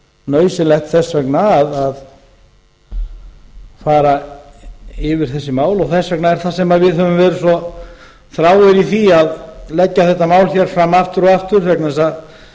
nauðsynlegt þess vegna að fara yfir þessi mál og þess vegna er það sem við höfum verið svo þráir í því að leggja þetta mál hér fram aftur og aftur vegna þess að